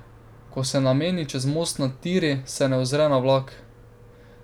Ko se nameni čez most nad tiri, se ne ozre na vlak.